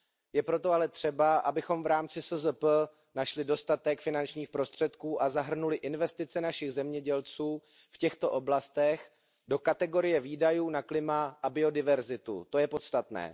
Je proto ale třeba, abychom v rámci SZP našli dostatek finančních prostředků a zahrnuli investice našich zemědělců v těchto oblastech do kategorie výdajů na klima a biodiverzitu, to je podstatné.